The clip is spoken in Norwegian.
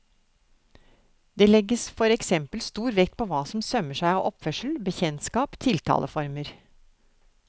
Det legges for eksempel stor vekt på hva som sømmer seg av oppførsel, bekjentskap, tiltaleformer.